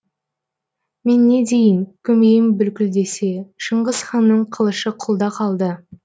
мен не дейін көмейім бүлкілдесе шыңғыс ханның қылышы құлда қалды